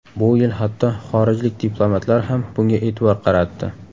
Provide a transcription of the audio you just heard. Bu yil hatto xorijlik diplomatlar ham bunga e’tibor qaratdi.